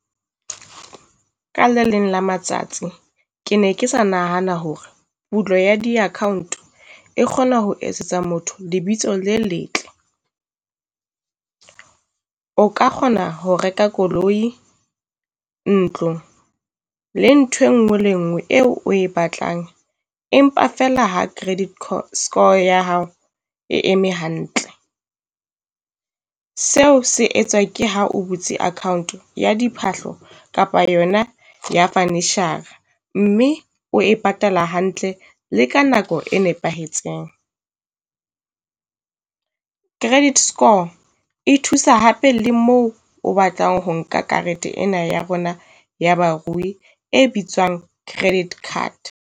Ka le leng la matsatsi ke ne ke sa nahana hore pulo ya di-account, e kgona ho etsetsa motho lebitso le letle. o ka kgona ho reka koloi, ntlo le nthwe ngwe le nngwe eo o e batlang. Empa feela ha credit score ya hao e eme hantle. Seo se etswa ke ha o butse account ya diphahlo kapa yona ya furniture-ra, mme o e patala hantle le ka nako e nepahetseng. Credit score e thusa hape le moo o batlang ho nka karete ena ya rona ya barui e bitswang credit card.